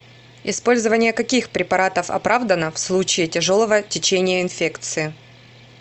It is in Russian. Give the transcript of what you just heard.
использование каких препаратов оправдано в случае тяжелого течения инфекции